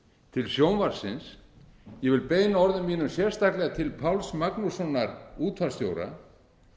til sjónvarpsins ég vil beina orðum mínum sérstaklega til páls magnússonar útvarpsstjóra